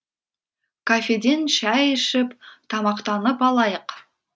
кафеден шай ішіп тамақтанып алайық